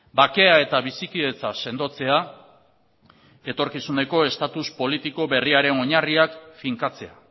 bakea eta bizikidetza sendotzea etorkizuneko status politiko berriaren oinarriak finkatzea